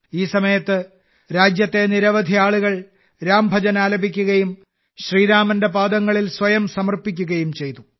ഈ സമയത്ത് രാജ്യത്തെ നിരവധി ആളുകൾ രാംഭജൻ ആലപിക്കുകയും ശ്രീരാമന്റെ പാദങ്ങളിൽ സ്വയം സമർപ്പിക്കുകയും ചെയ്തു